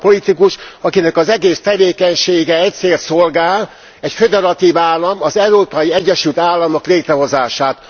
Ő az a politikus, akinek az egész tevékenysége egy célt szolgál, egy föderatív állam, az Európai Egyesült Államok létrehozását.